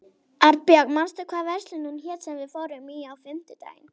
Arnborg, manstu hvað verslunin hét sem við fórum í á fimmtudaginn?